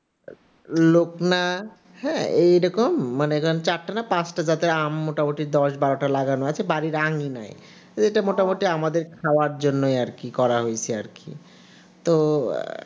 লোকনা হ্যাঁ এরকম মানে চারটা না পাঁচটা জাতের আম মোটামুটি দশ বারো টা লাগানো আছে, বাড়ির আগে নাই এটা মোটামুটি আমাদের খাবার জন্য আর কি করা হয়েছে আর কি তো আহ